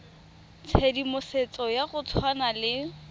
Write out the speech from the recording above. tshedimosetso ya go tshwana le